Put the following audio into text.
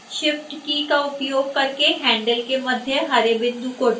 shift key का उपयोग करके handle के मध्य हरे बिंदु को ड्रैग करें